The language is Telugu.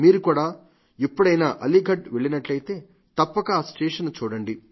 మీరు కూడా ఎప్పుడైనా అలీఘర్ వెళ్లినట్లయితే తప్పక ఈ స్టేషన్ ను చూడండి